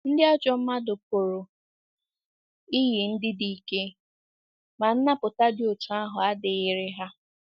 Ndị ajọ mmadụ pụrụ iyi ndị dị ike, ma nnapụta dị otú ahụ adịghịrị ha.